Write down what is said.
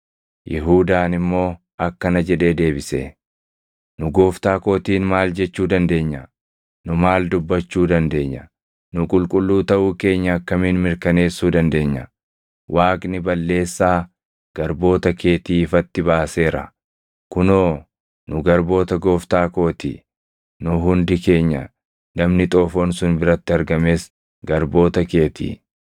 Yihuudaan immoo akkana jedhee deebise; “Nu gooftaa kootiin maal jechuu dandeenya? Nu maal dubbachuu dandeenya? Nu qulqulluu taʼuu keenya akkamiin mirkaneessuu dandeenya? Waaqni balleessaa garboota keetii ifatti baaseera. Kunoo nu garboota gooftaa koo ti; nu hundi keenya, namni xoofoon sun biratti argames garboota kee ti.”